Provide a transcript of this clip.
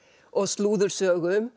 og